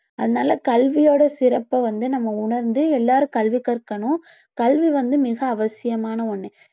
அதனால கல்வியோட சிறப்ப வந்து நம்ம உணர்ந்து எல்லாரும் கல்வி கற்கணும் கல்வி வந்து மிக அவசியமான ஒண்ணு